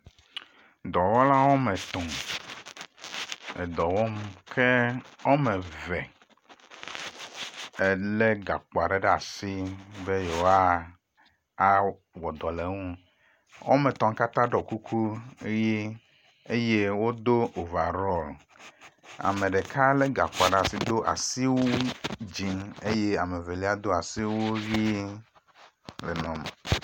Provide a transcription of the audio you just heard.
Dɔwɔla wɔme etɔ̃ edɔ wɔm ke wɔme eve ele gakpo aɖe ɖe asi be yewoa a wɔ dɔ le eŋu. Wɔme etɔ̃ la katã ɖɔ kuku ʋi eye wodo ovarɔl. ame ɖeka le gakpoa ɖe asi do asiwui dzi eye ame evelia do asiwui ʋi le nua me.